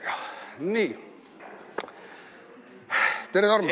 Tere, Tarmo!